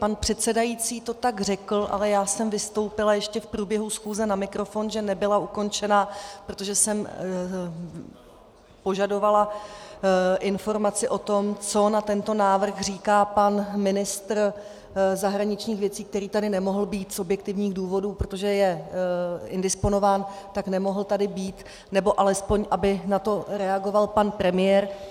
Pan předsedající to tak řekl, ale já jsem vystoupila ještě v průběhu schůze na mikrofon, že nebyla ukončena, protože jsem požadovala informaci o tom, co na tento návrh říká pan ministr zahraničních věcí, který tady nemohl být z objektivních důvodů, protože je indisponován, tak nemohl tady být, nebo alespoň aby na to reagoval pan premiér.